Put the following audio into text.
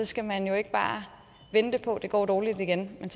skal man ikke bare vente på det går dårligt igen men